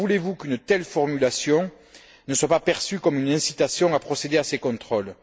Comment voulez vous qu'une telle formulation ne soit pas perçue comme une incitation à procéder à ces contrôles?